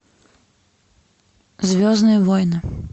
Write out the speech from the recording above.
звездные войны